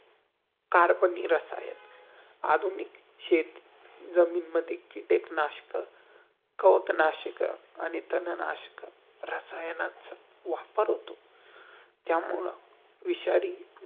कार्बनिक रसायन आधुनिक शेत, जमीनमध्ये कीटक नाशक, कप -नाशक आणि तन-नाशक, रासयानाचा वापर होतों. त्यामुळं विषारी